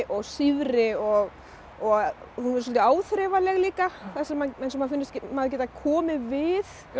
sífri og og hún er svolítið áþreifanleg líka manni finnst maður geta komið við